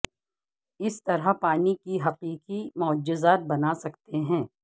اس طرح پانی کے حقیقی معجزات بنا سکتے ہیں